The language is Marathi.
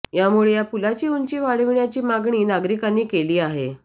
यामुळे या पुलाची उंची वाढविण्याची मागणी नागरिकांनी केली आहे